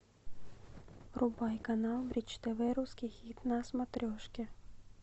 врубай канал бридж тв русский хит на смотрешке